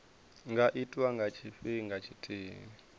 nga itwa nga tshifhinga tshithihi